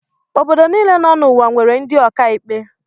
Obodo niile nọ n'ụwa nwere ndị ọkàikpe.